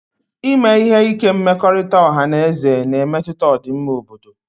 Ime ihe ike mmekọrịta ọha na eze na-emetụta ọdịmma obodo